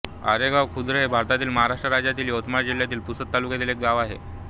आरेगाव खुर्द हे भारतातील महाराष्ट्र राज्यातील यवतमाळ जिल्ह्यातील पुसद तालुक्यातील एक गाव आहे